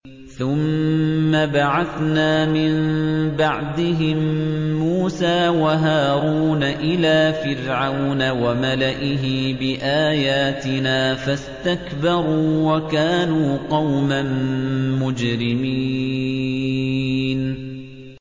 ثُمَّ بَعَثْنَا مِن بَعْدِهِم مُّوسَىٰ وَهَارُونَ إِلَىٰ فِرْعَوْنَ وَمَلَئِهِ بِآيَاتِنَا فَاسْتَكْبَرُوا وَكَانُوا قَوْمًا مُّجْرِمِينَ